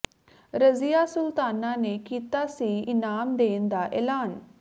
ਰਜ਼ੀਆ ਸੁਲਤਾਨਾ ਨੇ ਕੀਤਾ ਸੀ ਇਨਾਮ ਦੇਣ ਦਾ ਐਲਾਨ